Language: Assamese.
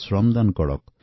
শ্ৰমদান কৰক